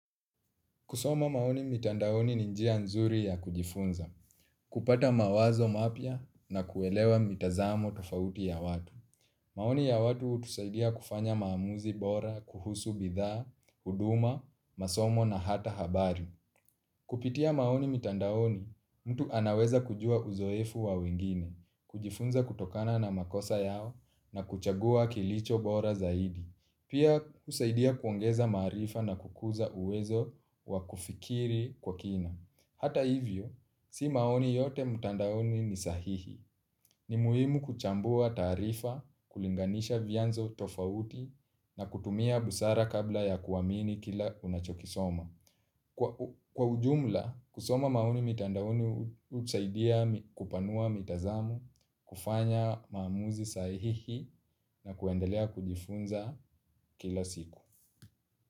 Kusoma maoni mitandaoni ni njia nzuri ya kujifunza, kupata mawazo mapya na kuelewa mitazamo tofauti ya watu. Maoni ya watu utusaidia kufanya maamuzi bora, kuhusu bidhaa, huduma, masomo na hata habari. Kupitia maoni mitandaoni, mtu anaweza kujua uzoefu wa wengine, kujifunza kutokana na makosa yao na kuchagua kilicho bora zaidi. Pia kusaidia kuongeza marifa na kukuza uwezo wa kufikiri kwa kina. Hata hivyo, si maoni yote mtandaoni ni sahihi. Ni muhimu kuchambua taarifa, kulinganisha vyanzo tofauti na kutumia busara kabla ya kuamini kila unachokisoma. Kwa ujumla, kusoma maoni mitandaoni husaidia kupanua mitazamo, kufanya maamuzi sahihi na kuendelea kujifunza kila siku.